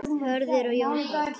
Hörður og Jón Páll.